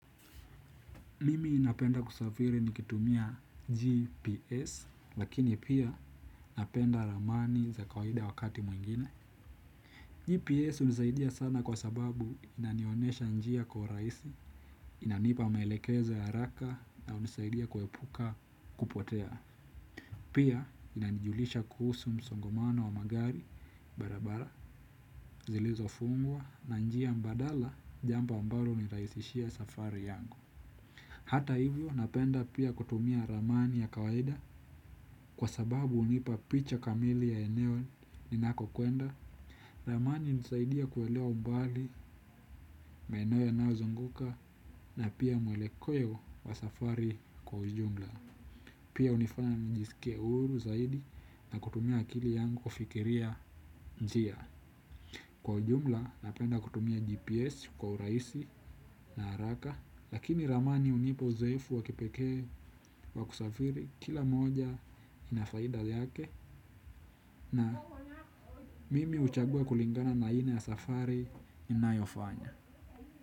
Mimi napenda kusafiri nikitumia GPS lakini pia napenda ramani za kawaida wakati mwingine GPS hunisaidia sana kwa sababu inanionyesha njia kwa urahisi inanipa maelekezo ya haraka na hunisaidia kuepuka kupotea. Pia inanijulisha kuhusu msongomano wa magari barabara zilizo fungwa na njia mbadala jambo ambalo hunirahisishia safari yangu. Hata hivyo napenda pia kutumia ramani ya kawaida kwa sababu hunipa picha kamili ya eneo ninako kwenda. Ramani hunisaidia kuelewa umbali, maeneo yanaozunguka na pia mwelekeo wa safari kwa ujumla. Pia hunifanya njisikie huru zaidi na kutumia akili yangu kufikiria njia. Kwa ujumla napenda kutumia GPS kwa urahisi na haraka. Lakini ramani hunipa uzoefu wa kipekee wa kusafiri kila moja ina faida yake. Na mimi huchagua kulingana na aina ya safari inayofanya.